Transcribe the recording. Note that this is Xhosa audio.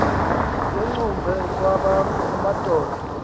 yengcubhe kwabakho amadoda